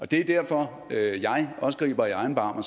det er derfor jeg også griber i egen barm og